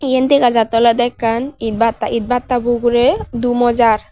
yen dega jattey olodey ekkan itbatta itbatta bo ugurey dumo jaar.